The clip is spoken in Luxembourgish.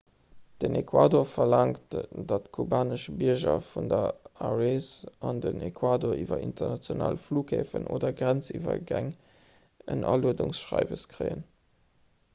den ecuador verlaangt datt kubanesch bierger virun der arees an den ecuador iwwer international flughäfen oder grenziwwergäng en aluedungsschreiwes kréien